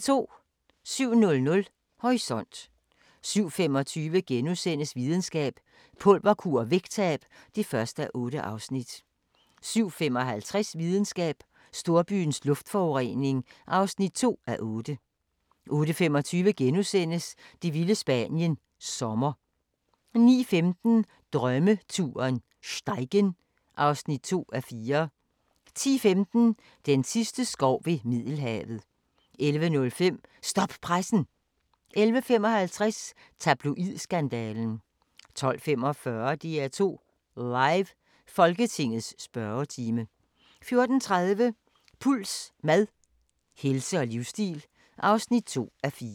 07:00: Horisont 07:25: Videnskab: Pulverkur og vægttab (1:8)* 07:55: Videnskab: Storbyens luftforurening (2:8) 08:25: Det vilde Spanien – Sommer * 09:15: Drømmeturen - Steigen (2:4) 10:15: Den sidste skov ved Middelhavet 11:05: Stop pressen! 11:55: Tabloid-skandalen 12:45: DR2 Live: Folketingets spørgetime 14:30: Puls: Mad, helse og livsstil (2:4)